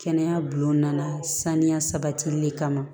Kɛnɛya bi gunna san ya sabatili kama